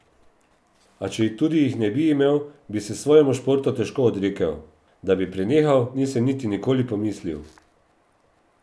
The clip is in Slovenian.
A četudi jih ne bi imel, bi se svojemu športu težko odrekel: "Da bi prenehal, nisem nikoli niti pomislil.